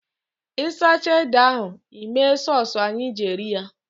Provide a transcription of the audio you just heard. Ị sichaa ede ahụ, Ị mee sọsụ anyị ji eri ya.